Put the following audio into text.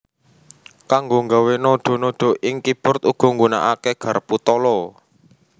Kanggo nggawé nadha nadha ing keyboard uga nggunakaké garpu tala